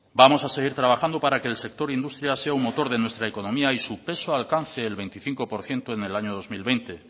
vamos a seguir trabajando para que el sector industria sea un motor de nuestra economía y su peso alcance el veinticinco por ciento en el año dos mil veinte